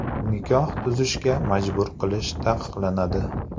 Nikoh tuzishga majbur qilish taqiqlanadi.